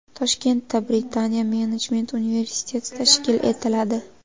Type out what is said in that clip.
Toshkentda Britaniya menejment universiteti tashkil etiladi.